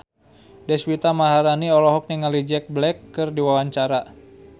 Deswita Maharani olohok ningali Jack Black keur diwawancara